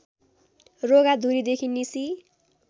रोगा धुरीदेखि निसी